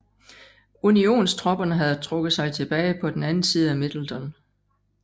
Unionstropperne havde trukket sig tilbage på den anden side af Middleton